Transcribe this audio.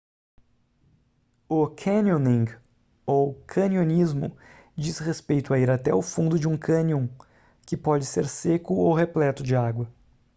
o canyoning ou canionismo diz respeito a ir até o fundo de um cânion que pode ser seco ou repleto de água